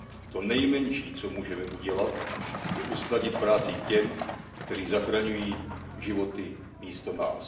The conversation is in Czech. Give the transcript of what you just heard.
To nejmenší, co můžeme udělat, je usnadnit práci těm, kteří zachraňují životy místo nás.